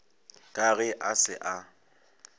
ka ge a se a